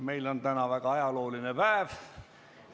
Meil on täna väga ajalooline päev.